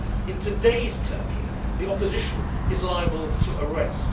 In today's Turkey the opposition is liable to arrest.